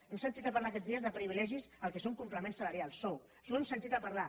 hem sentit a parlar aquests dies de privilegis del que són complements salarials sou això ho hem sentit a parlar